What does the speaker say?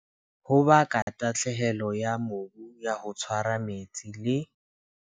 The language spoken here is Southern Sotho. Ho baka tahlehelo ya mobu ya ho tshwara metsi le.